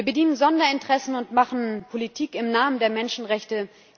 Wir bedienen Sonderinteressen und machen Politik im Namen der Menschenrechte.